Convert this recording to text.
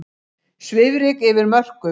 Svifryk yfir mörkum